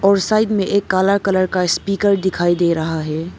और साइड में एक काला कलर का स्पीकर दिखाई दे रहा है।